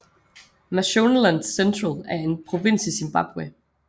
Mashonaland Central er en provins i Zimbabwe